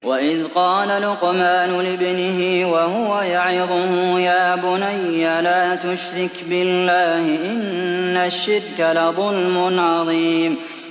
وَإِذْ قَالَ لُقْمَانُ لِابْنِهِ وَهُوَ يَعِظُهُ يَا بُنَيَّ لَا تُشْرِكْ بِاللَّهِ ۖ إِنَّ الشِّرْكَ لَظُلْمٌ عَظِيمٌ